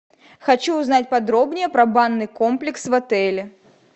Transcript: хочу узнать подробнее про банный комплекс в отеле